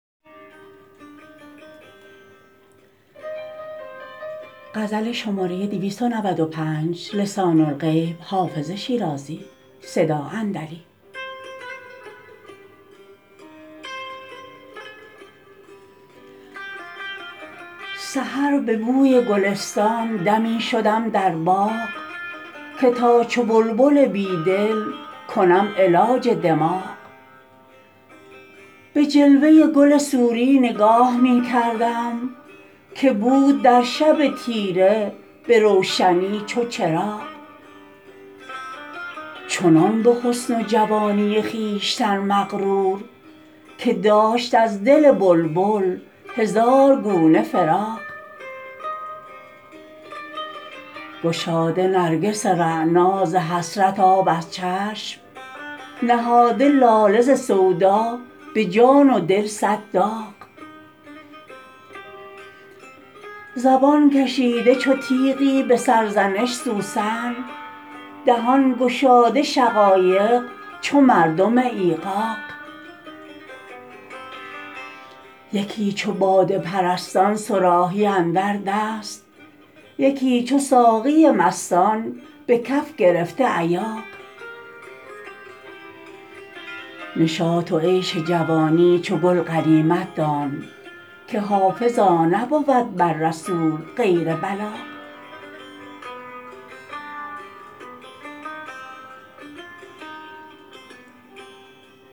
سحر به بوی گلستان دمی شدم در باغ که تا چو بلبل بیدل کنم علاج دماغ به جلوه گل سوری نگاه می کردم که بود در شب تیره به روشنی چو چراغ چنان به حسن و جوانی خویشتن مغرور که داشت از دل بلبل هزار گونه فراغ گشاده نرگس رعنا ز حسرت آب از چشم نهاده لاله ز سودا به جان و دل صد داغ زبان کشیده چو تیغی به سرزنش سوسن دهان گشاده شقایق چو مردم ایغاغ یکی چو باده پرستان صراحی اندر دست یکی چو ساقی مستان به کف گرفته ایاغ نشاط و عیش و جوانی چو گل غنیمت دان که حافظا نبود بر رسول غیر بلاغ